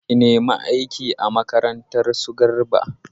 Ki nemi aiki a makarantar su Garba!